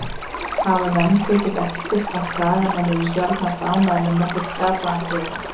Hafa menn tekið eftir að Skagamenn eru sjaldnast ánægðir með nokkurn skapaðan hlut?